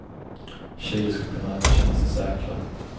Tjejer ska kunna känna sig säkra.